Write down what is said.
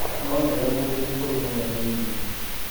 No nĩwe mũndũ mũkuru mũno thĩinĩ